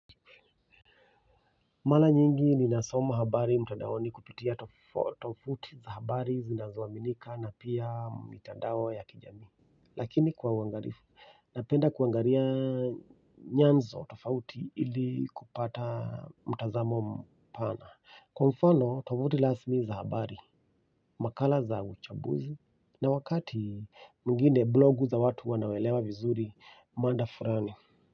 Mara nyingi ninasoma habari mtandaoni kupitia tovuti za habari zinazoaminika na pia mitandao ya kijamii. Lakini kwa uangalivu, napenda kuangalia nyanzo tofauti ili kupata mtazamo mpana. Kwa mfano, tovuti rasmi za habari, makala za uchambuzi, na wakati mwingine blogu za watu wanaoelewa vizuri mada fulani.